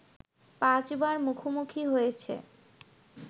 পাঁচবার মুখোমুখি হয়েছে